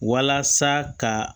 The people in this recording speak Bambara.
Walasa ka